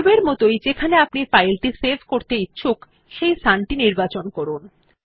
পূর্বের মতই যেখানে আপনি ফাইল টি সেভ করতে ইচ্ছুক সেই স্থান টি নির্বাচন করুন